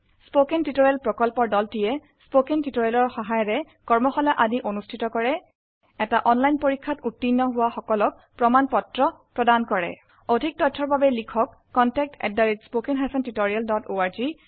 spoken tutorial প্ৰকল্পৰ দলটিয়ে spoken টিউটৰিয়েলে সহায়িকাৰে কৰ্মশালা আদি অনুষ্ঠিত কৰে এটা অনলাইন পৰীক্ষাত উত্তীৰ্ণ হোৱা সকলক প্ৰমাণ পত্ৰ প্ৰদান কৰে অধিক জানিবৰ বাবে অনুগ্ৰহ কৰি contactspoken tutorialorg এই ঠিকনাত লিখক